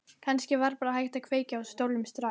Kannski var bara hægt að kveikja í stólnum strax.